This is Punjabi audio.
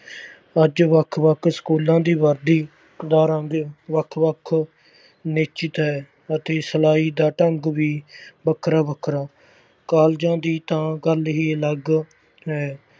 ਅੱਜ ਵੱਖ ਵੱਖ ਸਕੂਲਾਂ ਦੀ ਵਰਦੀ ਦਾ ਰੰਗ ਵੱਖ ਵੱਖ ਨਿਸ਼ਚਿਤ ਹੈ ਅਤੇ ਸਲਾਈ ਦਾ ਢੰਗ ਵੀ ਵੱਖਰਾ ਵੱਖਰਾ, ਕਾਲਜਾਂ ਦੀ ਤਾਂ ਗੱਲ ਹੀ ਅਲੱਗ ਹੈ।